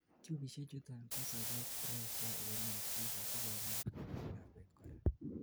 tubisiek chuton kosobet pressure en itik asikomuch kokas lakwet kora